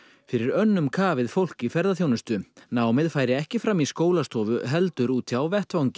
fyrir önnum kafið fólk í ferðaþjónustu námið færi ekki fram í skólastofu heldur úti á vettvangi